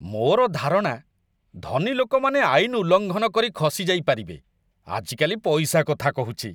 ମୋର ଧାରଣା ଧନୀ ଲୋକମାନେ ଆଇନ ଉଲ୍ଲଙ୍ଘନ କରି ଖସିଯାଇପାରିବେ। ଆଜିକାଲି ପଇସା କଥା କହୁଛି!